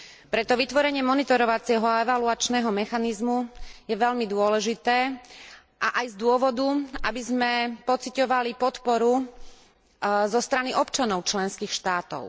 Preto vytvorenie monitorovacieho a evaluačného mechanizmu je veľmi dôležité a aj z dôvodu, aby sme pociťovali podporu zo strany občanov členských štátov.